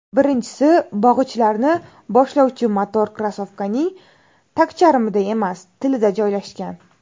Birinchisi, bog‘ichlarni boshlovchi motor krossovkaning tagcharmida emas, tilida joylashgan.